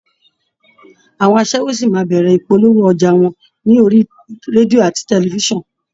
Àwọn aṣẹ́wó ṣì máa bẹ̀rẹ̀ ìpolówó ọjà wọn ní orí rédíò àti tẹlifíṣàn